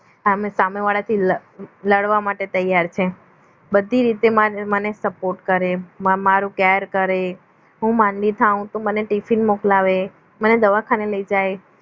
સામે સામે વાળા થી લડવા માટે તૈયાર છે બધી રીતે મને support કરે મારો care કરે હું માદી થાવ તો મને ટિફિન મોકલાવે મને દવાખાને લઈ જાય